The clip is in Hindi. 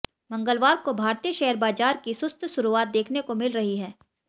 मंगलवार को भारतीय शेयर बाजार की सुस्त शुरुआत देखने को मिल रही है